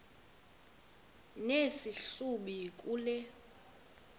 nesi hlubi kule